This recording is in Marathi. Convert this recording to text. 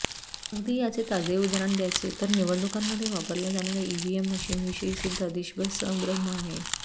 अगदी याचे ताजे उदाहरण द्यायचे तर निवडणुकांमध्ये वापरल्या जाणार्या ईव्हीएम मशीनविषयीसुध्दा देशभर संभ्रम आहे